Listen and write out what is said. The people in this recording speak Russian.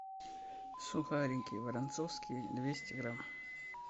сухарики воронцовские двести грамм